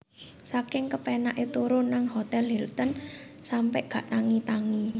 Saking kepenak e turu nang Hotel Hilton sampe gak tangi tangi